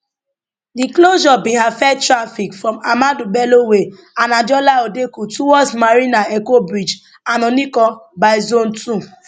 di closure bin affect traffic from ahmadu bello way and adeola odeku towards marina eko bridge and onikan by zone two